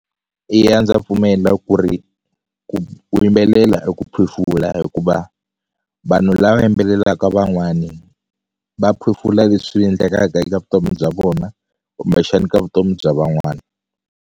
Eya ndza pfumela ku ri ku yimbelela i ku phefula hikuva vanhu lava yimbelelaka van'wani va phefula leswi endlekaka eka vutomi bya vona kumbexani ka vutomi bya van'wani.